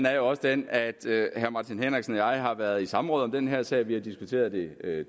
er jo også den at herre martin henriksen og jeg har været i samråd om den her sag vi har diskuteret det